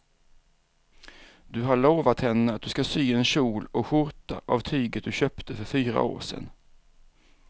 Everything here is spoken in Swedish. Du har lovat henne att du ska sy en kjol och skjorta av tyget du köpte för fyra år sedan.